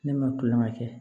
Ne ma kulonkɛ kɛ